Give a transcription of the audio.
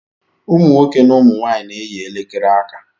Ụmụ nwoke na ụmụ nwanyị na-eyi elekere aka